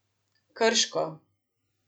Krško.